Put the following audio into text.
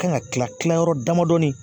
Kan ka kila kila yɔrɔ damadɔnin